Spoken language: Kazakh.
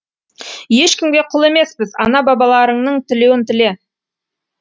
ешкімге құл емеспіз ана балаларыңның тілеуін тіле